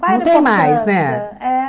Não tem mais, né? É